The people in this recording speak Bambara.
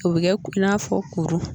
O bɛ kɛ i n'a fɔ kuru